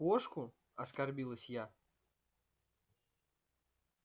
кошку оскорбилась я